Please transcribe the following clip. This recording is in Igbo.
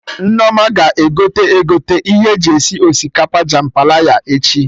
Nneoma ga-egote egote ihe eji esi osikapa jambalaya echi